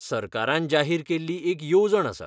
सरकारान जाहीर केल्ली एक येवजण आसा.